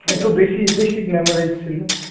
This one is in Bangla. একটু বেশি বেশি glamourize ছিল.